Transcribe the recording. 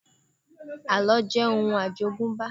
Àlọ́ jẹ́ òun àjogúnbá